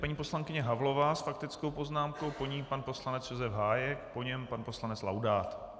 Paní poslankyně Havlová s faktickou poznámkou, po ní pan poslanec Josef Hájek, po něm pan poslanec Laudát.